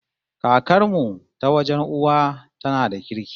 Kakar mu ta wajen uwa tana da kirki